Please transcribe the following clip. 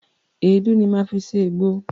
Èédú ni máa fi se ègbo.